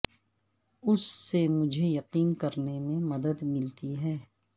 اس سے مجھے یقین کرنے میں مدد ملتی ہے